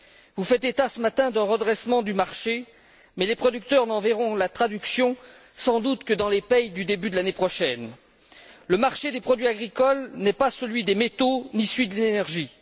Vous faites état, ce matin, d'un redressement du marché, mais les producteurs n'en verront sans doute la traduction que dans les paies du début de l'année prochaine. Le marché des produits agricoles n'est pas celui des métaux, ni celui de l'énergie.